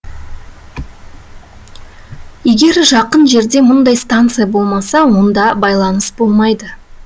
егер жақын жерде мұндай станция болмаса онда байланыс болмайды